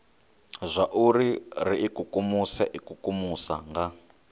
zwauri ri ikukumuse ikukumusa nga